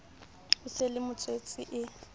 o sa le motswetse e